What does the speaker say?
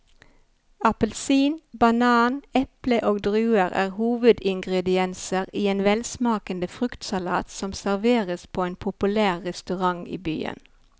Appelsin, banan, eple og druer er hovedingredienser i en velsmakende fruktsalat som serveres på en populær restaurant i byen.